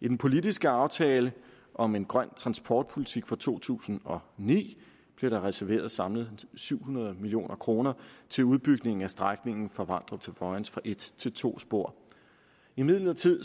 i den politiske aftale om en grøn transportpolitik fra to tusind og ni blev der reserveret samlet syv hundrede million kroner til udbygningen af strækningen fra vamdrup til vojens fra et til to spor imidlertid